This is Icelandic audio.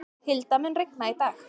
Hilda, mun rigna í dag?